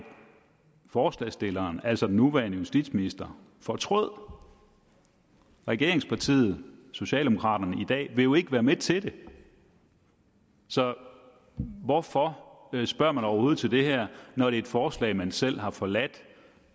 forslagsstilleren altså den nuværende justitsminister fortrød regeringspartiet socialdemokraterne vil jo ikke være med til det så hvorfor spørger man overhovedet til det her når det er et forslag man selv har forladt